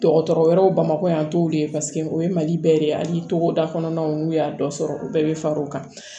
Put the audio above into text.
Dɔgɔtɔrɔ wɛrɛw bamakɔ yan an t'olu ye o ye malibɛ de ye hali togoda kɔnɔnaw n'u y'a dɔ sɔrɔ u bɛɛ bɛ fara o kan